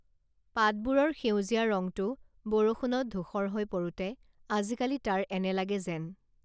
পাতবোৰৰ সেউজীয়া ৰংটো বৰষুণত ধূসৰ হৈ পৰোঁতে আজিকালি তাৰ এনে লাগে যেন